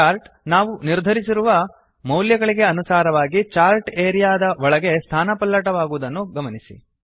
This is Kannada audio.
ಚಾರ್ಟ್ ನಾವು ನಿರ್ಧರಿಸಿರುವ ಮೌಲ್ಯಗಳಿಗೆ ಅನುಸಾರವಾಗಿ ಚಾರ್ಟ್ ಏರಿಯಾ ದ ಒಳಗೆ ಸ್ಥಾನಪಲ್ಲಟವಾಗಿರುವುದನ್ನು ಗಮನಿಸಿ